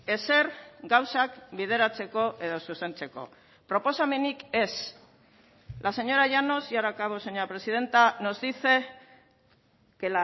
ezer gauzak bideratzeko edo zuzentzeko proposamenik ez la señora llanos y ahora acabo señora presidenta nos dice que